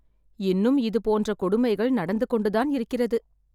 இன்னும் இது போன்ற கொடுமைகள் நடந்து கொண்டு தான் இருக்கிறது